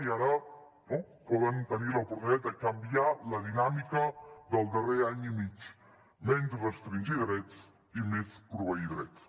i ara no poden tenir l’oportunitat de canviar la dinàmica del darrer any i mig menys restringir drets i més proveir drets